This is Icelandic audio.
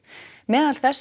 meðal þess